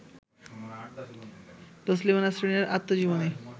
তসলিমা নাসরিনের আত্মজীবনী